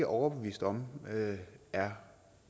overbevist om er